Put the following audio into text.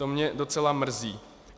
To mě docela mrzí.